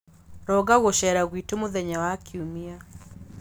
Ronga gũceera gwitũ mũthenya wa Kiumia.